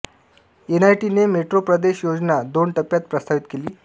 एनआयटीने metro प्रदेश योजना दोन टप्प्यात प्रस्तावित केली